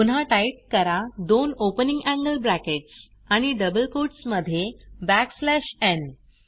पुन्हा टाईप करा दोन ओपनिंग एंगल ब्रॅकेट्स आणि डबल कोट्स मध्ये बॅकस्लॅश न् n